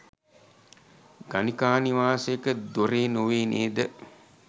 ගණිකා නිවාසයක දොරේ නොවේ නේද?